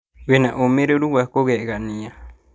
Wĩna ũmĩrĩru wa kũgegania